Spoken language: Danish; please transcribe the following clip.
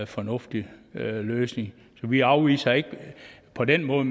fornuftig løsning så vi afviser ikke på den måde